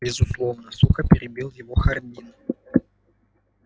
безусловно сухо перебил его хардин